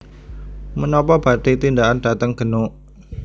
Menopo badhe tindakan dateng Genuk